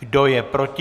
Kdo je proti?